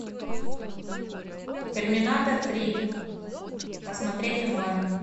терминатор три посмотреть онлайн